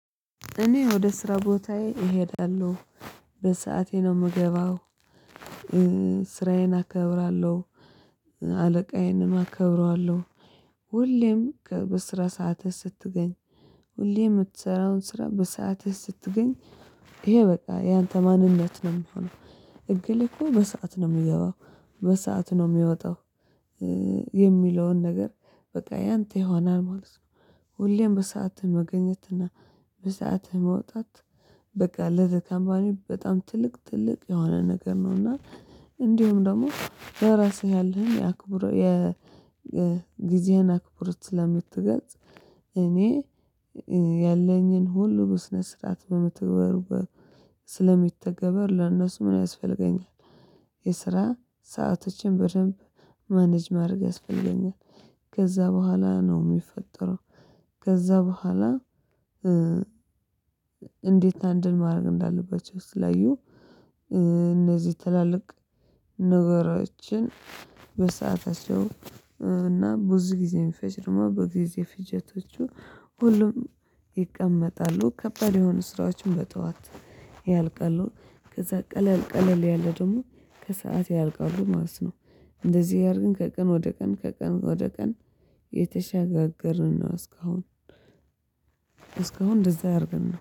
እኔ ወደ ስራ ቦታዬ እሄዳለሁ በሰአቴ ነው የምገባው። ስራዬን አከብራለሁ። አለቃዬንም አከብረዋለሁ። ሁሌም በስራ ሰአትህ ስትገኝ ሁሌ የምትሰራውን ስራ በሰአትህ ስትገኝ። ይሄ በቃ ያንተ ማንነት ነው የምሆነው እገሌ እኮ በሰአት ነው የምገባው በሰአት ነው የሚወጣው። የሚለውን ነገር በቃ ያንተ ይሆናል ማለት ነው። ሁሌም በሰአትህ መገኘት እና በሰአትህ መውጣት። በቃ ለዛ ከምፓኒው በጣም ትልቅ ትልቅ የሆነ ነገር ነው። እና እንዲሁም ደግሞ ለራስህ ያለህን የአክብሮት የጊዜህን አክብሮት ስለምትገልጽ። እኔ ያለኝን ሁሉ ብስነት ስርዓት በምተግበር። ስለሚተገበር ለእነሱ ምን ያስፈልገኛል? የስራ ሰአቶችን በደንብ ማኔጅ ማድረግ ያስፈልገኛል። ከዛ በኋላ ነው የሚፈጠረው። ከዛ በኋላ እንዴት አንድን ማድረግ እንዳለባቸው ስትለዩ። እነዚህ ትላልቅ ነገሮችን በሰአታቸው እና ብዙ ጊዜ የሚፈጅ ደግሞ በጊዜ ፍጆታቸው ሁሉም ይቀመጣሉ ከባድ የሆኑ ስራዎችን በጠዋት ያልቀሉ ከዛ ቀለል ቀለል ያለ ደግሞ ከሰአት ያልቃሉ ማለት ነው። እንደዚህ ያደረገን ከቀን ወደ ቀን ከቀን ወደ ቀን እየተሸጋገርን ነው እስካሁን። እስካሁን እንደዛ አድርገን